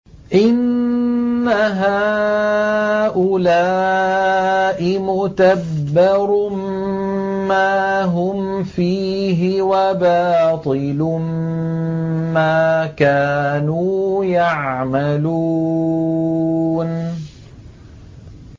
إِنَّ هَٰؤُلَاءِ مُتَبَّرٌ مَّا هُمْ فِيهِ وَبَاطِلٌ مَّا كَانُوا يَعْمَلُونَ